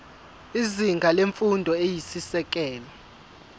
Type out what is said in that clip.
izinga lemfundo eyisisekelo